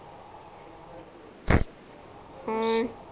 ਅਮ